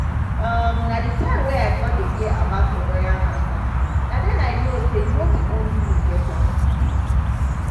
um na the time wey i con dey hear about ovarian cancer na den i know say no be only me get am